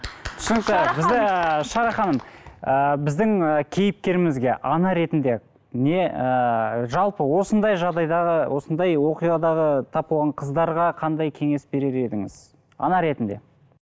түсінікті бізде шара ханым ы біздің ы кейіпкерімізге ана ретінде не ыыы жалпы осындай жағдайдағы осындай оқиғадағы тап болған қыздарға қандай кеңес берер едіңіз ана ретінде